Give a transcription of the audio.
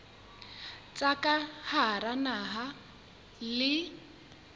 tsa ka hara naha le